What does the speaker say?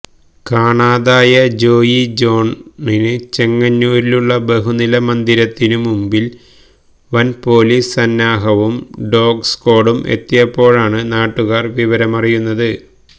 കാണാതായ ജോയി ജോണിന് ചെങ്ങന്നൂരിലുള്ള ബഹുനില മന്ദിരത്തിനു മുന്നിൽ വൻ പൊലീസ് സന്നാഹവും ഡോഗ് സ്ക്വാഡും എത്തിയപ്പോഴാണ് നാട്ടുകാർ വിവരമറിയുന്നത്